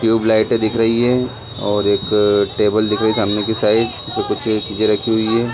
ट्यूबलाइटे दिख रही है और एक टेबल दिख रही है सामने की साइड जो कुछ-कुछ चीजे रखी हुई हैं ।